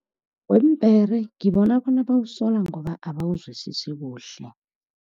Weempera ngibona bona bawusola ngoba abawuzwisisi kuhle.